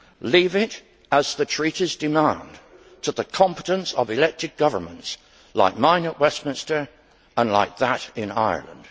Leave it, as the Treaties demand, to the competence of elected governments like mine at Westminster and like that in Ireland.